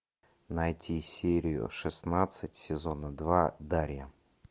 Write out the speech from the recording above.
найти серию шестнадцать сезона два дарья